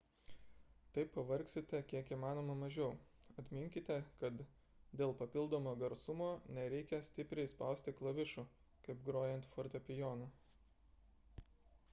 taip pavargsite kiek įmanoma mažiau atminkite kad dėl papildomo garsumo nereikia stipriai spausti klavišų kaip grojant fortepijonu